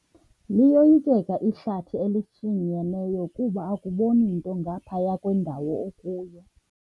Liyoyikeka ihlathi elishinyeneyo kuba akuboni nto ngaphaya kwendawo okuyo.